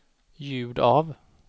ljud av